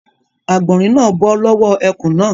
Àgbọ̀rín náà bọ́ lọ́wọ́ ẹkùn náà.